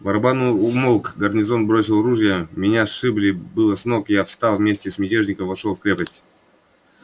барабан умолк гарнизон бросил ружья меня сшибли было с ног но я встал и вместе с мятежниками вошёл в крепость